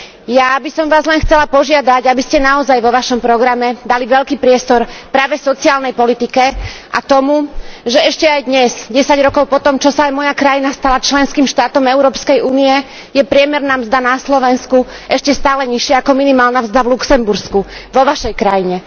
Ja by som Vás len chcela požiadať, aby ste naozaj vo Vašom programe dali veľký priestor práve sociálnej politike a tomu, že ešte aj dnes, 10 rokov po tom, čo sa moja krajina stala členským štátom Európskej únie, je priemerná mzda na Slovensku ešte stále nižšia ako minimálna mzda v Luxembursku, vo Vašej krajine.